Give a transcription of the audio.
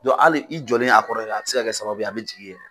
Dɔn ali i jɔlen a kɔrɔ yɛrɛ a be se ka kɛ sababu ye a be jigin e yɛrɛ kan